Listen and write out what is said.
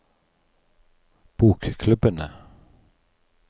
bokklubbene